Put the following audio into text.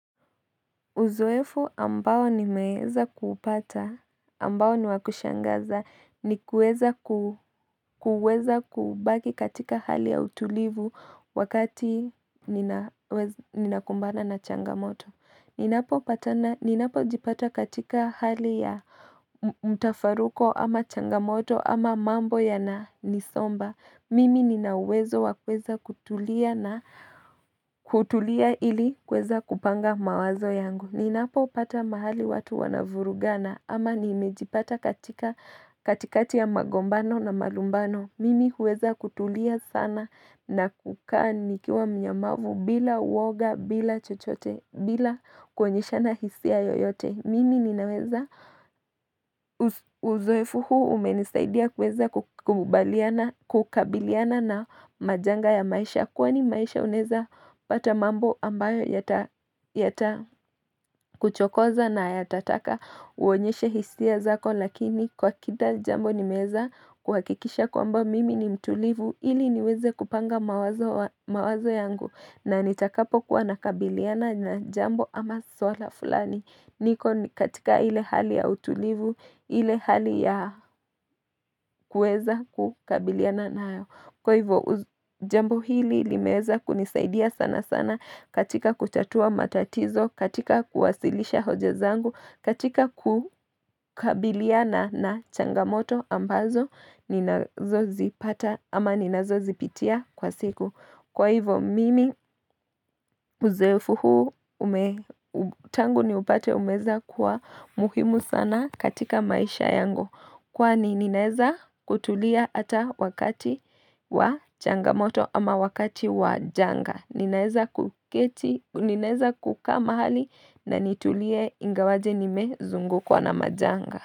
Uzoefu ambao nimeweza kuupata ambao ni wakushangaza ni kuweza kubaki katika hali ya utulivu wakati ninakumbana na changamoto Ninapo jipata katika hali ya mtafaruko ama changamoto ama mambo ya na nisomba Mimi ninauwezo wa kuweza kutulia ili kuweza kupanga mawazo yangu Ninapopata mahali watu wanavurugana ama nimejipata katika katikati ya magombano na malumbano Mimi huweza kutulia sana na kukaa nikiwa mnyamavu bila uoga bila chochote bila kuonyeshana hisia yoyote Mimi ninaweza uzoefu huu umenisaidia kukubaliana kukabiliana na majanga ya maisha ya kwani maisha unaweza pata mambo ambayo yata kuchokoza na yatataka uonyeshe hisia zako lakini kwa kida jambo ni meza kuhakikisha kwamba mimi ni mtulivu ili niweze kupanga mawazo yangu na nitakapo kuwa nakabiliana na jambo ama swala fulani. Niko katika ile hali ya utulivu, ile hali ya kuweza kukabilia na nayo Kwa hivyo, jambo hili limeweza kunisaidia sana sana katika kutatua matatizo, katika kuwasilisha hoja zangu, katika kukabiliana changamoto ambazo, ninazozipata ama ninazo zipitia kwa siku Kwa hivo mimi uzoefu huu, tangu ni upate umeweza kuwa muhimu sana katika maisha yango. Kwani ninaweza kutulia hata wakati wa changamoto ama wakati wa janga. Ninaweza kuketi, ninaeza kukaa mahali na nitulie ingawaje nimezungukwa na majanga.